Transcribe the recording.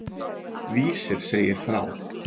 Vísir segir frá.